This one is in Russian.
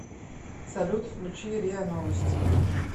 салют включи риа новости